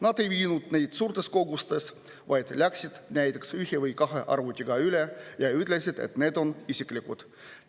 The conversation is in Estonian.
Nad ei viinud suurtes kogustes, vaid läksid näiteks ühe või kahe arvutiga üle ja ütlesid, et need on isiklikud arvutid.